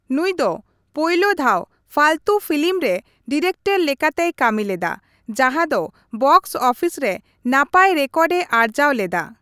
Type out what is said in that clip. ᱱᱩᱭ ᱫᱚ ᱯᱳᱭᱞᱳ ᱫᱷᱟᱣ ᱯᱷᱟᱞᱛᱩ ᱯᱷᱤᱞᱤᱢ ᱨᱮ ᱰᱤᱨᱮᱠᱴᱚᱨ ᱞᱮᱠᱟᱛᱮᱭ ᱠᱟ.ᱢᱤ ᱞᱮᱫᱟ ᱾ ᱡᱟᱦᱟᱸᱫᱚ ᱵᱚᱠᱥ ᱚᱯᱷᱤᱥ ᱨᱮ ᱱᱟᱯᱟᱭ ᱨᱮᱠᱚᱨᱰᱮ ᱟᱨᱡᱟᱣ ᱞᱮᱫᱟ ᱾